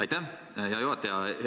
Aitäh, hea juhataja!